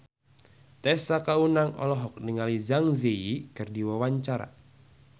Tessa Kaunang olohok ningali Zang Zi Yi keur diwawancara